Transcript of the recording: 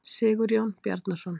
Sigurjón Bjarnason.